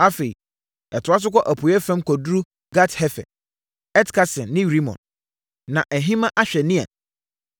Afei, ɛtoa so kɔ apueeɛ fam kɔduru Gat-Hefer, Et-Kasin ne Rimon, na ahima ahwɛ Nea.